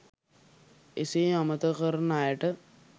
එසේ අමතක කරන අයට